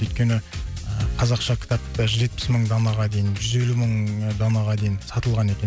өйткені ыыы қазақша кітапты жетпіс мың данаға дейін жүз елу мың данаға дейін сатылған екен